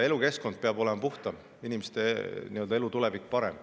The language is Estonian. Elukeskkond peab olema puhtam, inimeste elu ja tulevik parem.